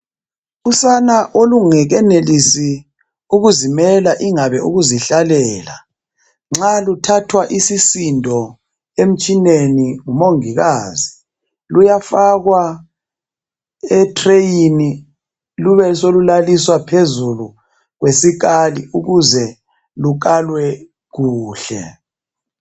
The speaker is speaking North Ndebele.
Usana olungekenelisi ukuzimela ingabe ukuzihlalela nxa luthathwa isisindo emtshineni ngumongikazi luyafakwa etreyini lube solulaliswa phezulu kwesikali ukuze lukalwe kuhle.